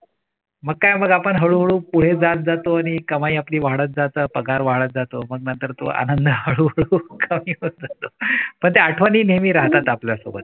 मग काय पण हळू पुढे जात जात जातो आणि कमाई आपली वाढत जाते पगार वाढत जातो मग नंतर तो आनंद हळूहळू कमी होतो पण त्या आठवणी नेहमी राहतात आपल्यासोबत